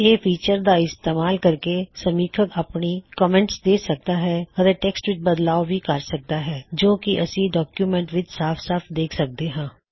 ਇਹ ਫੀਚਰ ਦਾ ਇਸਤੇਮਾਲ ਕਰਕੇ ਸਮੀੱਖੱਕ ਆਪਣੀ ਟਿੱਪਣੀਆ ਦੇ ਸਕਦਾ ਹੈ ਅਤੇ ਟੈਕ੍ਸਟ ਵਿੱਚ ਬਦਲਾਵ ਵੀ ਕਰ ਸਕਦਾ ਹੇ ਜੋ ਕੀ ਅਸੀ ਡੌਕਯੁਮੈੱਨਟ ਵਿੱਚ ਸਾਫ ਸਾਫ ਦੇਖ ਸਕਦੇ ਹਾਂ